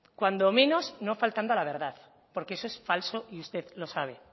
cuando menos no faltando a la verdad porque eso es falso y usted lo sabe